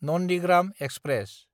Nandigram express